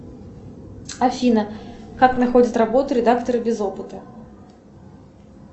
афина как находят работу редакторы без опыта